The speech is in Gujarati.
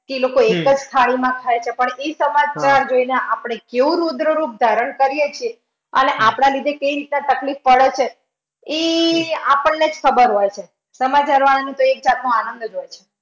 એ લોકો એક જ થાળીમાં ખાય છે. પણ એ સમાચાર જોઈને અપડે કેવું રુદ્ર રૂપ ધારણ કરીયે છે. અને આપણા લીધે કેવી રીતે તકલીફ પડે છે ઈ આપણને જ ખબર હોય છે. સમાચાર વાળાનું તો એક જાતનું આનંદ જ હોય છે.